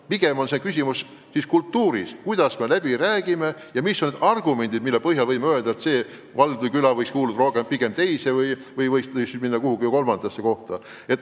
Pigem on küsimus kultuuris, kuidas me läbi räägime ja mis on argumendid, mille põhjal võime öelda, et see küla võiks kuuluda ühte või teise või hoopis kolmandasse valda.